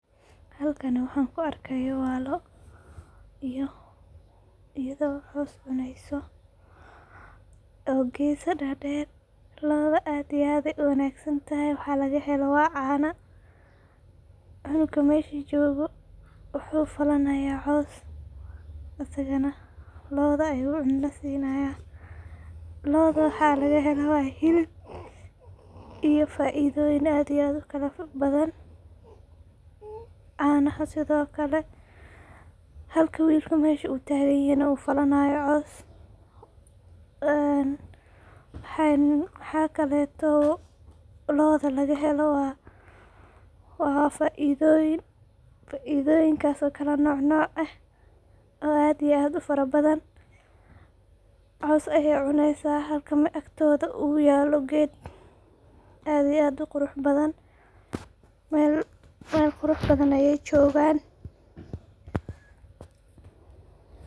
Halkani waxan kuu arkayo waa lo'o, iyado coos cuneyso oo gesa derder, lo'oda aad iyo aad ayay uwanagsantahy, waxa lagahelo waa cano, cunuga mesha jogo wuxu falanayaa coos, asaganah lo'oda ayu cunto sinaya, lo'oda waxa lagahela hilib iyo faidoyin aad iyo aad ufarabadhan, canaha sidiokale, halka wilka meshu taganyahy nah uu falanayo coos, een waxa kaleto lo'da lagahelo waa faidoyin, faidoyinkas oo kala nocnoc eh aad iyo aad ufarabadhan, coos ayay cuneysa halka agtoda nah yalo ged aad uqurax badhan mel qurax badhan ayay jogan.